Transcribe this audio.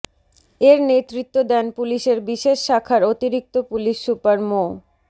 এর নেতৃত্ব দেন পুলিশের বিশেষ শাখার অতিরিক্ত পুলিশ সুপার মো